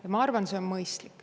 Ja ma arvan, et see on mõistlik.